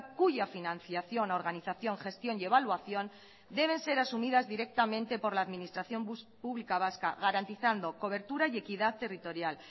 cuya financiación organización gestión y evaluación deben ser asumidas directamente por la administración pública vasca garantizando cobertura y equidad territorial